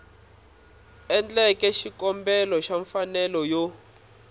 endleke xikombelo xa mfanelo yo